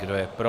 Kdo je pro?